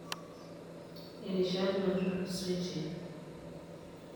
irishat natulusotie